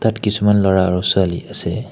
ইয়াত কিছুমান ল'ৰা আৰু ছোৱালী আছে।